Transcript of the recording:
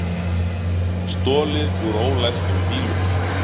Stolið úr ólæstum bílum